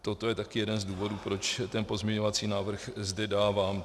Toto je taky jeden z důvodů, proč ten pozměňovací návrh zde dávám.